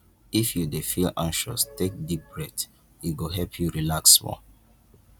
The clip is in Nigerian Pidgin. if you dey feel anxious take deep breath e go help you relax small